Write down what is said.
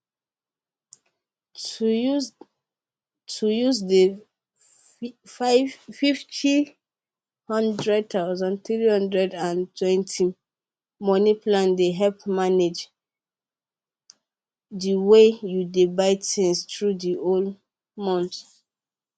to use to use dey fifty hundred thousand three hundred and twenty money plan dey help manage dey way you dey buy things through d whole month